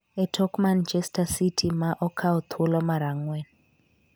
e tok Manchester City ma okawo thuolo mar ang'wen.